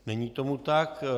Není tomu tak.